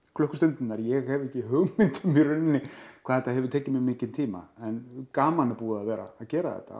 klukkustundirnar ég hef ekki hugmynd um í rauninni hvað þetta hefur tekið mig mikinn tíma en gaman er búið að vera að gera þetta